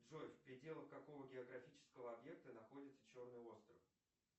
джой в пределах какого географического объекта находится черный остров